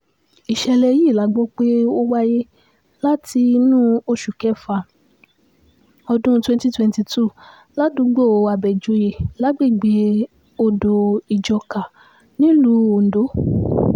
ìṣẹ̀lẹ̀ yìí la gbọ́ pé ó wáyé láti inú oṣù kéfà ọdún twenty twenty two ládùúgbò àbẹ́jọ́yé lágbègbè odò-ìjọ́ká nílùú ondo